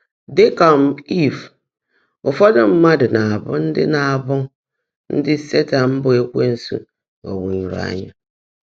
Dị́ kà um Ìv, ụfọ́dụ́ mmádụ́ ná-ábụ́ ndị́ ná-ábụ́ ndị́ Sétan bụ́ Ékwénsu ghọ́gbúnyụ́rụ́ ányá.